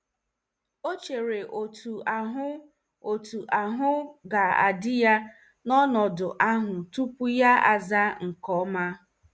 O chere otu ahụ otu ahụ ọ ga-adị ya n'ọnọdụ ahụ tupu ya azaa nke ọma.